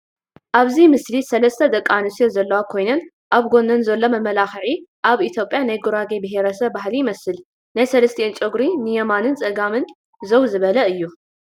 አብዚ ምስሊ ሰለስተ ደቀንስትዮ ዘለዋ ኮይነን አብ ጎነን ዘሎ መመላክዒ አብ ኢትዮጵያ ናይ ጉራጌ ብሄረሰብ ባህሊ ይመስል፡፡ ናይ ሰለስቲአን ጨጉሪ ንየማንን ፀጋምን ዛው ዝበለ እዩ፡፡